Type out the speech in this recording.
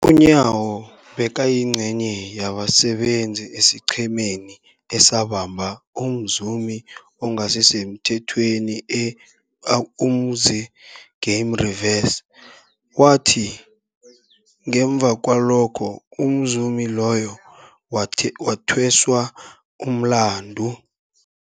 UNyawo bekayingcenye yabasebenza esiqhemeni esabamba umzumi ongasisemthethweni e-Umkhuze Game Reserve, owathi ngemva kwalokho umzumi loyo wathweswa umlandu.